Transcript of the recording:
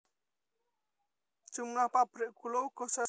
Jumlah pabrik gula uga saya sithik